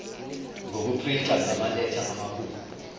ngokuprinta ngamaletha amakhulu